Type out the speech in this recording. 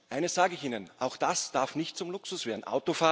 Eines sage ich Ihnen Auch das darf nicht zum Luxus werden.